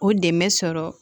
O dɛmɛ sɔrɔ